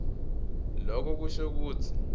loko kusho kutsi